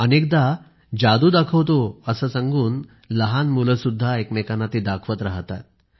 अनेकदा जादू दाखवतो असे सांगून लहान मुले सुद्धा एकमेकांना ती दाखवत राहतात